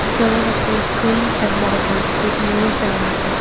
Saloon appears clean and modern with mirrors and lightening.